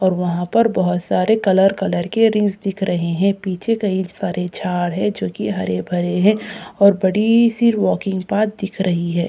और वहाँ पर बहुत सारे कलर कलर के रिंग्स दिख रहे हैं पीछे कहीं सारे झाड़ हैं जो की हरे-भरे है और बड़ी सी वाकिंग पार्क दिख रही है।